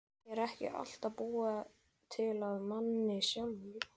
Er ekki allt búið til af manni sjálfum?